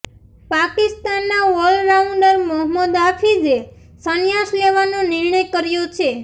પાકિસ્તાનના ઓલરાઉન્ડર મોહમ્મદ હાફીઝે સંન્યાસ લેવાનો નિર્ણય કર્યો છે